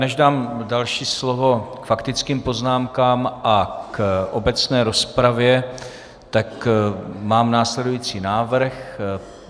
Než dám další slovo k faktickým poznámkám a k obecné rozpravě, tak mám následující návrh.